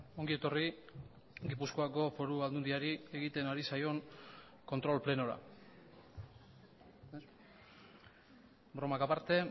ongi etorri gipuzkoako foru aldundiari egiten ari zaion kontrol plenora bromak aparte